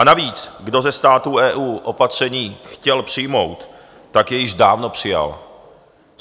A navíc kdo ze států EU opatření chtěl přijmout, tak je již dávno přijal.